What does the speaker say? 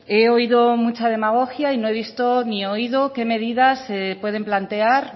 he oído mucha demagogia y no he visto ni oído qué medidas se pueden plantear